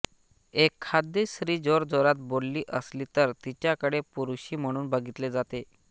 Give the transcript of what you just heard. एखादी स्त्री जोरजोरात बोलली हसली तर तिच्याकडे पुरुषी म्हणून बघितले जाते